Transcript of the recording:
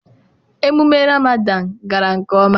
emume Ramadan gara nke oma.